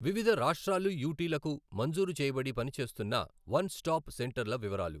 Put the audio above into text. వివిధ రాష్టాలు యుటీలకు మంజూరు చేయబడి పనిచేస్తున్న వన్ స్టాప్ సెంటర్ల వివరాలు